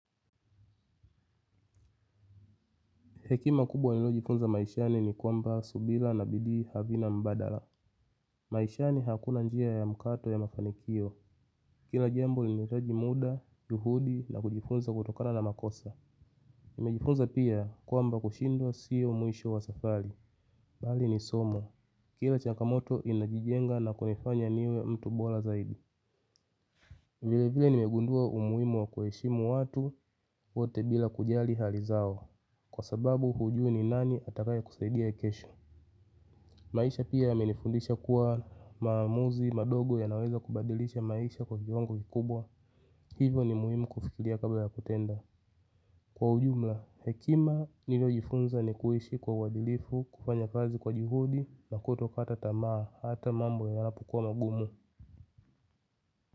Hekima kubwa nilojifunza maishani ni kwamba subila na bidii havina mbadala. Maishani hakuna njia ya mkato ya mafanikio. Kila jambo linahitaji muda, juhudi na kujifunza kutokana na makosa. Nimejifunza pia kwamba kushindwa sio mwisho wa safari. Bali ni somo. Kila changamoto inajijenga na kunifanya niwe mtu bora zaidi. Vile vile nimegundua umuhimu wa kueshimu watu wote bila kujali hali zao. Kwa sababu hujui ni nani atakaye kusaidia kesho. Maisha pia yamenifundisha kuwa maamuzi madogo yanaweza kubadilisha maisha kwa viwango vikubwa. Hivo ni muhimu kufikilia kabla ya kutenda. Kwa ujumla, hekima niliojifunza ni kuishi kwa uwadilifu, kufanya kazi kwa juhudi na kutokata tamaa hata mambo yanapokua magumu.